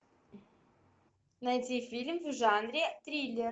найти фильм в жанре триллер